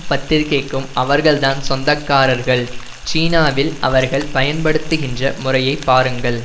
பத்திரிகைக்கும் அவர்கள் தான் சொந்தக்காரர்கள் சீனாவில் அவர்கள் பயன்படுத்துகின்ற முறையை பாருங்கள்